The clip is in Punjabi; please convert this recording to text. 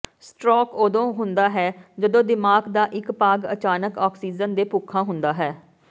ਸਟਰੋਕ ਉਦੋਂ ਹੁੰਦਾ ਹੈ ਜਦੋਂ ਦਿਮਾਗ ਦਾ ਇੱਕ ਭਾਗ ਅਚਾਨਕ ਆਕਸੀਜਨ ਦੇ ਭੁੱਖਾ ਹੁੰਦਾ ਹੈ